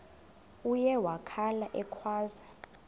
uye wakhala ekhwaza